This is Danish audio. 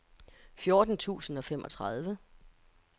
fjorten tusind og femogtredive